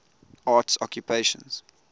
arts occupations